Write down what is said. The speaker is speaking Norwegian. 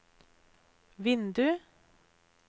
vindu